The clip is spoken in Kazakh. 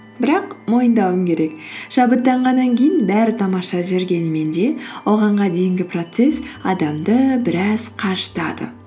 бірақ мойындауым керек шабыттанғаннан кейін бәрі тамаша жүргенімен де оған дейінгі процесс адамды біраз қажытады